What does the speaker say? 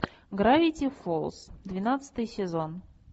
гравити фолз двенадцатый сезон